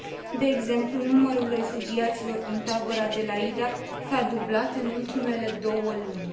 De exemplu, numărul refugiaților din tabăra de la Yida s a dublat în ultimele două luni.